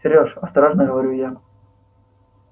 серёж осторожно говорю я